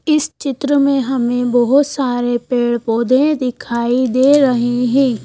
इस चित्र में हमें बहुत सारे पेड़-पौधे दिखाई दे रहे हैं।